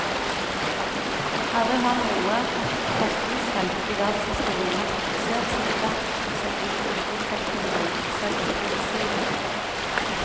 Aldri har noe forskningsfelt i verdenshistorien vært fokusert så sterkt som informasjonsteknologi, selv ikke medisin.